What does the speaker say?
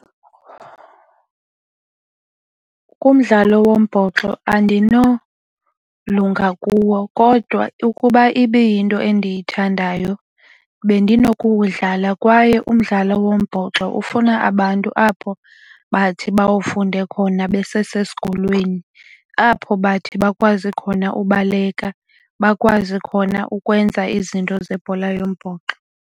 Kumdlalo wombhoxo andinolunga kuwo kodwa ukuba ibiyinto endiyithandayo bendinokuwudlala. Kwaye umdlalo wombhoxo ufuna abantu apho bathi bawafunde khona besesesikolweni apho bathi bakwazi khona ubaleka bakwazi khona ukwenza izinto zebhola yombhoxo.